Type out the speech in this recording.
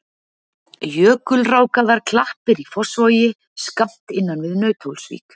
Jökulrákaðar klappir í Fossvogi skammt innan við Nauthólsvík.